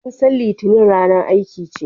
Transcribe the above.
An san litinin ranar aiki ce